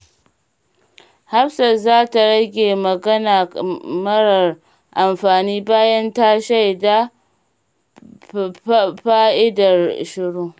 Hafsat za ta rage magana marar amfani bayan ta shaida fa’idar shiru.